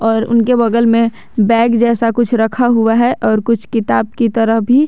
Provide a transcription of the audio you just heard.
और उनके बगल में बैग जैसा कुछ रखा हुआ है और कुछ किताब की तरह भी।